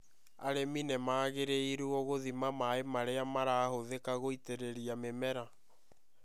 Arĩmi nĩ magĩrĩirũo gũthima maĩ marĩa marahuthĩ ka guitĩ rĩ ria mĩmera.